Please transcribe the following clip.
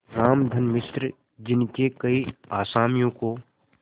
रामधन मिश्र जिनके कई असामियों को